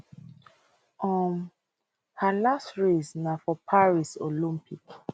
um her last race na for paris olympic